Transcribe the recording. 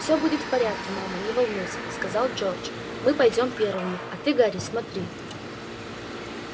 все будет в порядке мама не волнуйся сказал джордж мы пойдём первыми а ты гарри смотри